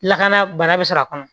Lakana bana bɛ sɔrɔ a kɔnɔ